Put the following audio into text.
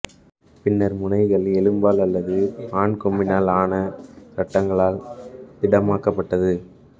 பின்னர் முனைகள் எலும்பால் அல்லது மான்கொம்பினால் ஆன சட்டங்களால் திடமாக்கப்பட்டது